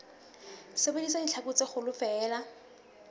sebedisa ditlhaku tse kgolo feela